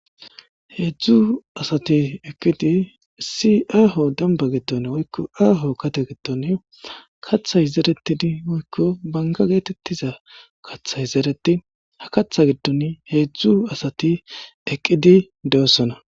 3 asat eqid aho kata gidon woyko gade gidon kathay zeretid woykko banga getetiza kathay zeretin ha katha gidon hezdu asati eqid dosona.